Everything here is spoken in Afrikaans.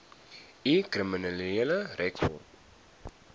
u kriminele rekord